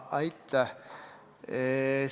Aitäh!